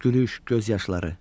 Gülüş, göz yaşları.